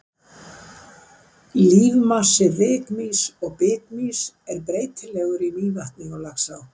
Lífmassi rykmýs og bitmýs er breytilegur í Mývatni og Laxá.